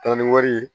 Taa ni wari ye